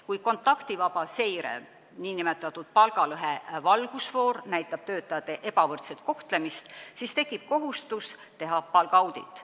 Kui kontaktivaba seire, nn palgalõhe valgusfoor, näitab töötajate ebavõrdset kohtlemist, siis tekib kohustus teha palgaaudit.